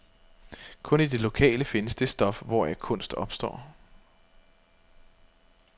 Kun i det lokale findes det stof, hvoraf kunst opstår.